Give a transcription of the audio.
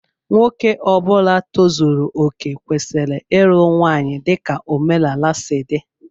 Nwoke Ọbula tozuru okè kwesịrị ịlụ nwanyị dika omenala si dị.